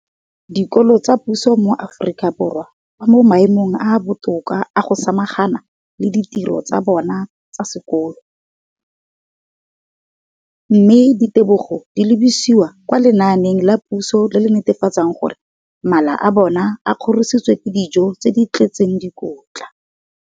dikolo tsa puso mo Aforika Borwa ba mo maemong a a botoka a go ka samagana le ditiro tsa bona tsa sekolo, mme ditebogo di lebisiwa kwa lenaaneng la puso le le netefatsang gore mala a bona a kgorisitswe ka dijo tse di tletseng dikotla.